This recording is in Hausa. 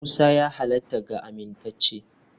Musa ya halatta ga amintacce.